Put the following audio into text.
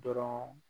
Dɔrɔn